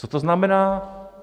Co to znamená?